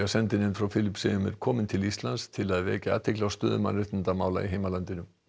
sendinefnd frá Filippseyjum er komin til Íslands til að vekja athygli á stöðu mannréttindamála í heimalandinu